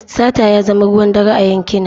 Sata ya zama ruwan dare a yankina.